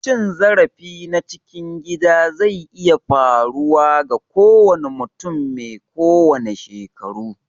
Cin zarafi na cikin gida zai iya faruwa ga kowanne mutum mai kowanne shekaru.